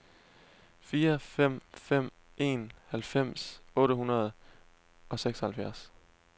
fire fem fem en halvfems otte hundrede og seksoghalvtreds